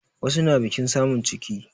Wasu na biƙin samun ciki